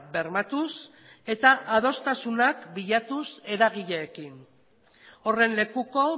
bermatuz eta adostasunak bilatuz eragileekin horren lekuko